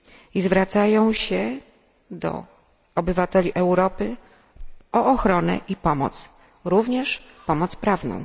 i zwracają się do obywateli Europy o ochronę i pomoc, również pomoc prawną.